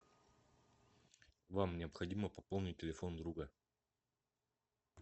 вам необходимо пополнить телефон друга